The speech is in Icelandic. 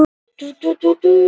Jöklar í Mexíkó bráðna hratt